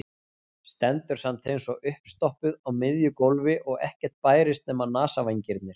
Stendur samt eins og uppstoppuð á miðju gólfi og ekkert bærist nema nasavængirnir.